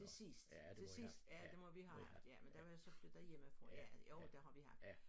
Til sidst til sidst ja det må vi have haft ja men der var jeg så flyttet hjemmefra ja jo det har vi haft